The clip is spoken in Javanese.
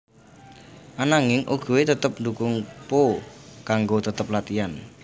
Ananging Oogway tetep ndukung Po kanggo tetep latihan